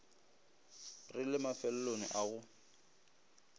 re le mafelong a go